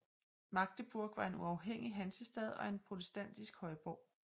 Magdeburg var en uafhængig hansestad og en protestantisk højborg